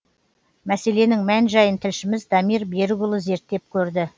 мәселенің мән жайын тілшіміз дамир берікұлы зерттеп көрді